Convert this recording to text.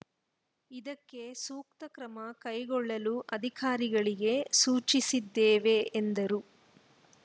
ಇದಕ್ಕೆ ಸೂಕ್ತ ಕ್ರಮ ಕೈಗೊಳ್ಳಲು ಅಧಿಕಾರಿಗಳಿಗೆ ಸೂಚಿಸಿದ್ದೇವೆ ಎಂದರು